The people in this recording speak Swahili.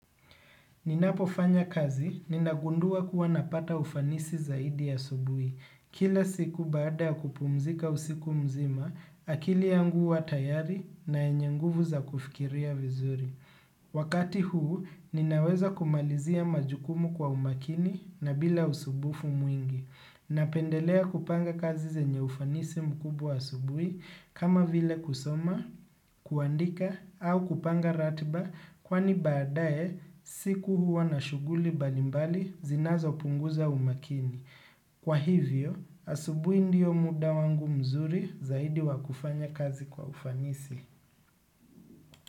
Ninapofanya kazi, ninagundua kuwa napata ufanisi zaidi asubuhi. Kila siku baada ya kupumzika usiku mzima, akili yangu huwa tayari na yenye nguvu za kufikiria vizuri. Wakati huu, ninaweza kumalizia majukumu kwa umakini na bila usubufu mwingi. Napendelea kupanga kazi zenye ufanisi mkubwa asubuhi, kama vile kusoma, kuandika au kupanga ratiba kwani baada ye siku huwa na shughuli mbalimbali zinazopunguza umaakini. Kwa hivyo, asubuhi ndio muda wangu mzuri zaidi wakufanya kazi kwa ufanisi.